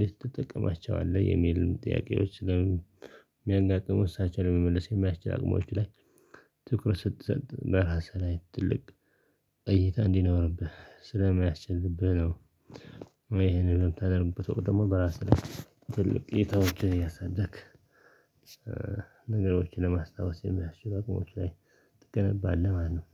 ልትጠቀማቸው አለ የሚል ጥያቄዎች ስለሚያጋጥሙ እሳቸው ለመመለስ የሚያስችል አቅሞች ላይ ትኩረት ስትሰጥ ለራስህ ላይ ትልቅ እይታ እንዲኖርብህ ስለማያስችልብህ ነው። ይሄንን የምታደርጉበት ወቅት ደግሞ በራስህ ላይ ትልቅ እይታወችን እያሳደግ ነገሮችን ለማስታወስ የሚያስችል አቋም ላይ ትገነባለህ። ማነው